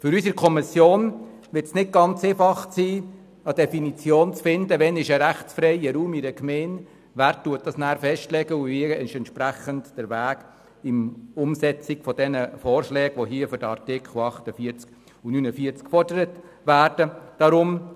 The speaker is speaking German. Für die Kommission wird es nicht ganz einfach sein, eine Definition dafür zu finden, wann in einer Gemeinde ein rechtsfreier Raum besteht, wer das festlegt und wie der Weg bei der Umsetzung der Vorschläge, die nun für die Artikel 48 und 49 vorgelegt wurden, aussehen soll.